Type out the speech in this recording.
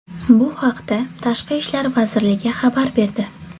Bu haqda Tashqi ishlar vazirigi xabar berdi .